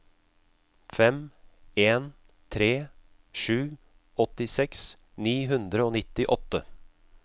fem en tre sju åttiseks ni hundre og nittiåtte